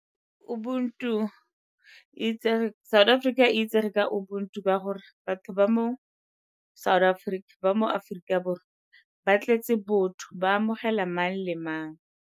South Africa e itsege ka ubuntu ka gore batho ba mo South Africa, ba mo Aforika Borwa ba tletse botho, ba amogela mang le mang.